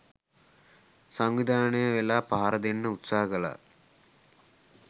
සංවිධානය වෙලා පහර දෙන්න උත්සාහ කළා.